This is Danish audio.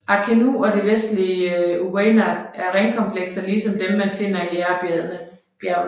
Arkenu og det vestlige Uweinat er ringkomplekser ligesom dem man finder i Aïrbjergene